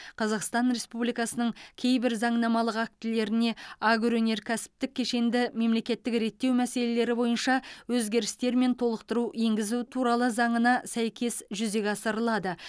қазақстан республикасының кейбір заңнамалық актілеріне агроөнеркәсіптік кешенді мемлекеттік реттеу мәселелері бойынша өзгерістер мен толықтыру енгізу туралы заңына сәйкес жүзеге асырылады